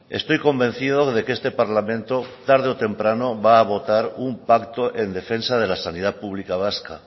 estoy convencido de que este parlamento tarde o temprano va a votar un pacto en defensa de la sanidad pública vasca